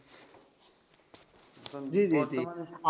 সংগীত জিজি